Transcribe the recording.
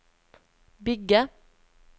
bygge